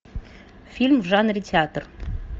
фильм в жанре театр